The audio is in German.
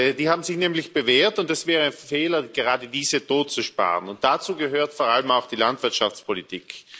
Sie haben sich nämlich bewährt, und es wäre ein Fehler, gerade diese totzusparen, und dazu gehört vor allem auch die Landwirtschaftspolitik.